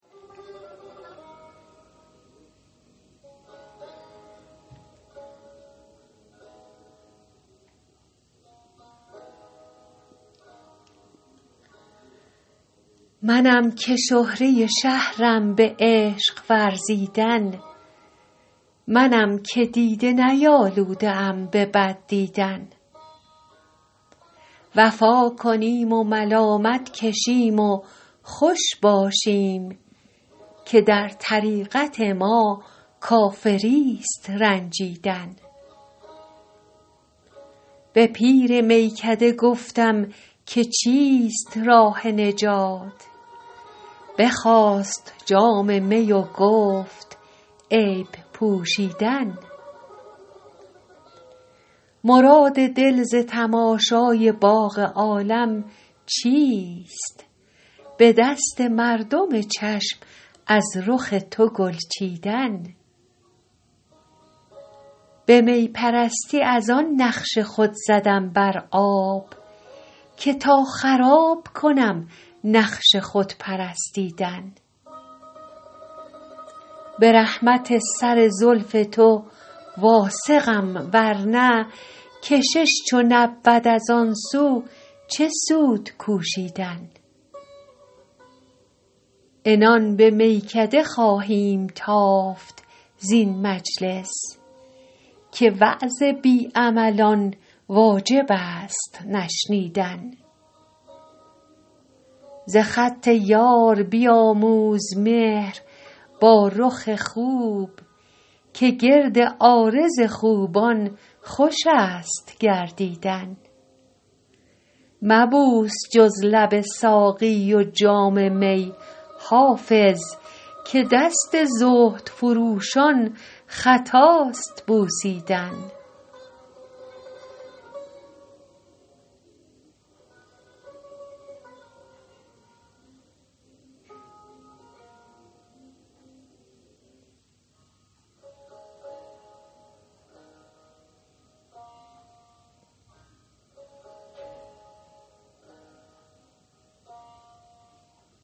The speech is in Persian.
منم که شهره شهرم به عشق ورزیدن منم که دیده نیالوده ام به بد دیدن وفا کنیم و ملامت کشیم و خوش باشیم که در طریقت ما کافریست رنجیدن به پیر میکده گفتم که چیست راه نجات بخواست جام می و گفت عیب پوشیدن مراد دل ز تماشای باغ عالم چیست به دست مردم چشم از رخ تو گل چیدن به می پرستی از آن نقش خود زدم بر آب که تا خراب کنم نقش خود پرستیدن به رحمت سر زلف تو واثقم ورنه کشش چو نبود از آن سو چه سود کوشیدن عنان به میکده خواهیم تافت زین مجلس که وعظ بی عملان واجب است نشنیدن ز خط یار بیاموز مهر با رخ خوب که گرد عارض خوبان خوش است گردیدن مبوس جز لب ساقی و جام می حافظ که دست زهد فروشان خطاست بوسیدن